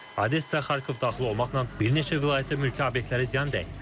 Odessa, Xarkov daxil olmaqla, bir neçə vilayətdə mülki obyektlərə ziyan dəyib.